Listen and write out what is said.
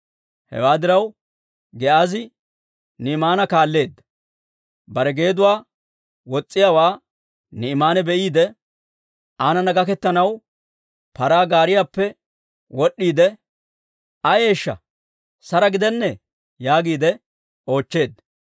Hewaa diraw, Giyaazi Naa'imaana kaalleedda. Bare geeduwaa wos's'iyaawaa Ni'imaane be'iide, aanana gaketanaw paraa gaariyaappe wod'd'iide, «Ayeeshsha, sara gidennee?» yaagiide oochcheedda.